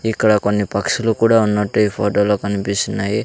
ఇక్కడ కొన్ని పక్షులు కూడా ఉన్నట్టు ఈ ఫోటో లో కనిపిస్తున్నాయి.